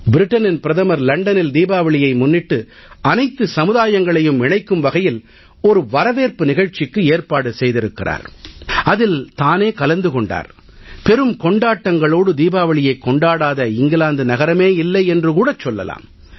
இங்கிலாந்து பிரதமர் லண்டனில் தீபாவளியை முன்னிட்டு அனைத்து சமுதாயங்களையும் இணைக்கும் வகையில் ஓர் வரவேற்பு நிகழ்ச்சிக்கு ஏற்பாடு செய்திருந்தார் அதில் தானே கலந்தும் கொண்டார் பெரும் கொண்டாட்டங்களோடு தீபாவளியைக் கொண்டாடாத இங்கிலாந்து நகரமே இல்லை என்று கூட சொல்லலாம்